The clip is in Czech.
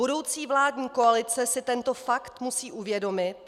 Budoucí vládní koalice si tento fakt musí uvědomit.